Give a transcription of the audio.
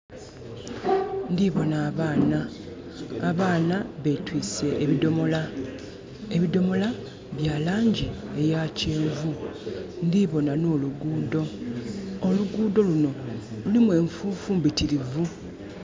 Ndi bona abaana, abaana betwiise ebidhomola. Ebidhomola bya langi eya kyenvu. Ndhi bona n'oluguudo. Oluguudo luno lulimu enfuufu mbitirivu.